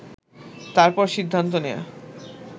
তারপর সিদ্ধান্ত নেয়া